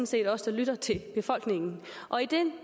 set os der lytter til befolkningen og i den